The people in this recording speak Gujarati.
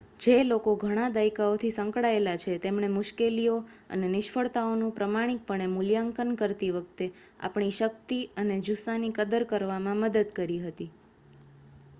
જે લોકો ઘણા દાયકાઓથી સંકળાયેલા છે તેમણે મુશ્કેલીઓ અને નિષ્ફળતાઓનું પ્રમાણિકપણે મૂલ્યાંકન કરતી વખતે આપણી શક્તિ અને જુસ્સાની કદર કરવામાં મદદ કરી હતી